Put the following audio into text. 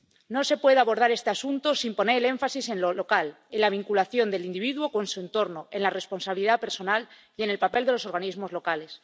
No se puede abordar este asunto sin poner el énfasis en lo local, en la vinculación del individuo con su entorno, en la responsabilidad personal y en el papel de los organismos locales.